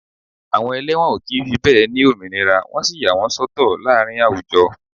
Àwọn ẹlẹ́wọ̀n ó kì í fi bẹ́ẹ̀ ni òmìnira wọ́n sì yà wọ́n sọ́tọ̀ láàárín àwùjọ